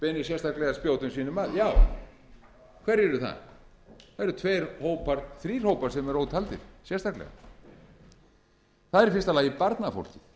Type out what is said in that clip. beinir sérstaklega spjótum sínum að já hverjir eru það það eru tveir hópar þrír hópar sem eru ótaldir sérstaklega það er í fyrsta lagi